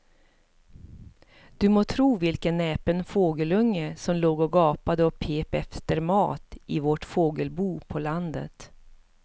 Du må tro vilken näpen fågelunge som låg och gapade och pep efter mat i vårt fågelbo på landet.